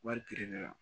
Wari gɛrɛ la